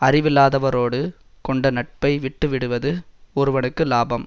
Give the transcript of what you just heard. அறிவில்லாதவரோடு கொண்ட நட்பை விட்டு விடுவது ஒருவனுக்கு இலாபம்